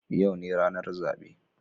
Yau ne ranar zabe